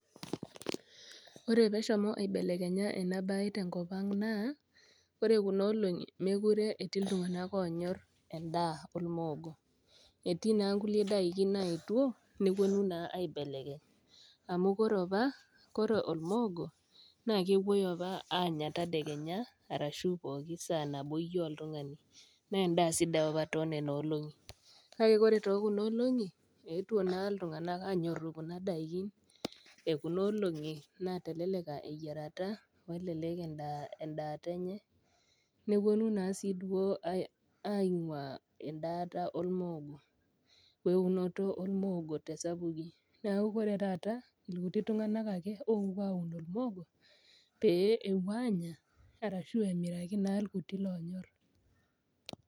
Ore pee eshomo abelekenya ena bae tenko ang' naa kore kuna olong'i mekure eti iltung'ana oonyor endaa olmoogo. Etii naa kule daiki naetwo naa aibelekeny, amu ore opa, ore olmoogo na kepuo opa aanya tadekenya ashu pook saa teniyou oltung'ani naaa endaa sidai opa too nena olong'i, kake kore te kuna olong'i, eetwo naa iltung'ana aanyoru kuna daiki e kunoolong'i nateleleka eyierata, nelelek endaata enye, newuonu naa duo aing'waa endaa olmoogo we eunoto olmoogo te esapuki, neaku ore taata ilkuti tung'ana ake oopuo aaun olmoogo, pee epuo aanya, arashu emiraki naa ilkuti oonyor.